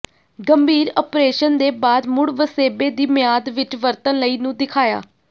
ਗੰਭੀਰ ਓਪਰੇਸ਼ਨ ਦੇ ਬਾਅਦ ਮੁੜ ਵਸੇਬੇ ਦੀ ਮਿਆਦ ਵਿੱਚ ਵਰਤਣ ਲਈ ਨੂੰ ਦਿਖਾਇਆ